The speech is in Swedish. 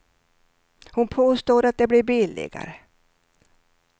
Hon påstår att det blir billigare.